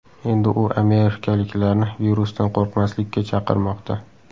Endi u amerikaliklarni virusdan qo‘rqmaslikka chaqirmoqda .